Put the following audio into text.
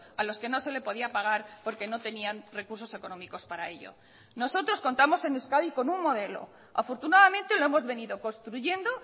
a los que no se le podía pagar porque no tenían recursos económicos para ello nosotros contamos en euskadi con un modelo afortunadamente lo hemos venido construyendo